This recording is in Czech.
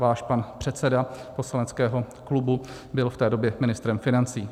Váš pan předseda poslaneckého klubu byl v té době ministrem financí.